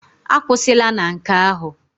Akwụsịla na nke ahụ!